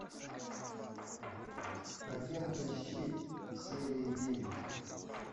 агенты щит серия девять